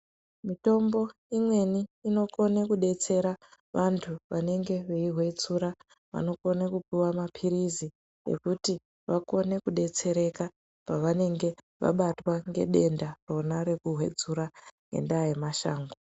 Mutombo imweni inokone kudetsera vantu vanenge veihotsura anokone kupuwa mapirizi ekuti vakone kudetsereka pavanenge vabatwa ngedenda rona rekuhotsura ngendaa yemashango.